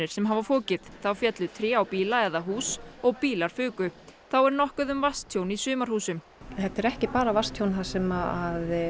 sem hafa fokið þá féllu tré á bíla eða hús og bílar fuku þá er nokkuð um vatnstjón í sumarhúsum þetta er ekki bara vatnstjón sem